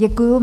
Děkuju.